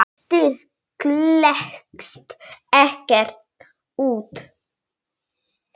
styrk klekst ekkert út.